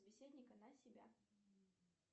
собеседника на себя